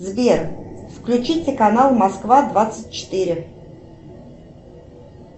сбер включите канал москва двадцать четыре